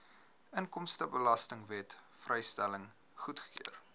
inkomstebelastingwet vrystelling goedgekeur